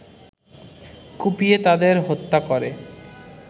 কুপিয়ে তাদের হত্যা করে